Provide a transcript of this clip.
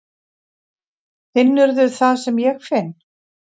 Finnurðu það sem ég finn?